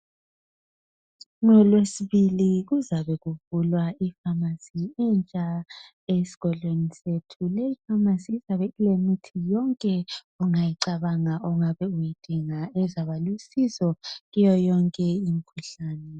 NgoLwesibili kuzabe kuvulwa ipharmacy entsha esigodleni sethu. Leyi pharmacy izabe ilemithi yonke ongayicabanga ongabe uyidinga ezaba lusizo kuyo yonke imikhuhlane